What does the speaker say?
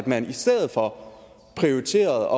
man i stedet for prioriterede